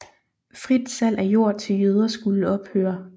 Frit salg af jord til jøder skulle ophøre